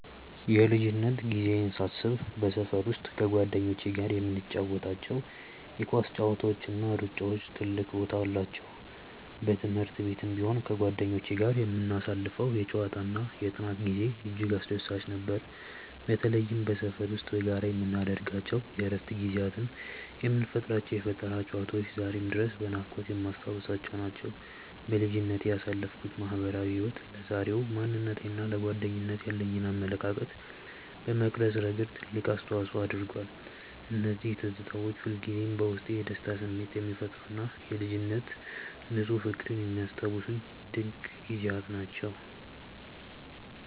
የልጅነት ጊዜዬን ሳስብ በሰፈር ውስጥ ከጓደኞቼ ጋር የምንጫወታቸው የኳስ ጨዋታዎችና ሩጫዎች ትልቅ ቦታ አላቸው። በትምህርት ቤትም ቢሆን ከጓደኞቼ ጋር የምናሳልፈው የጨዋታና የጥናት ጊዜ እጅግ አስደሳች ነበር። በተለይም በሰፈር ውስጥ በጋራ የምናደርጋቸው የእረፍት ጊዜያትና የምንፈጥራቸው የፈጠራ ጨዋታዎች ዛሬም ድረስ በናፍቆት የማስታውሳቸው ናቸው። በልጅነቴ ያሳለፍኩት ማህበራዊ ህይወት ለዛሬው ማንነቴና ለጓደኝነት ያለኝን አመለካከት በመቅረጽ ረገድ ትልቅ አስተዋጽኦ አድርጓል። እነዚያ ትዝታዎች ሁልጊዜም በውስጤ የደስታ ስሜት የሚፈጥሩና የልጅነት ንፁህ ፍቅርን የሚያስታውሱኝ ድንቅ ጊዜያት ናቸው።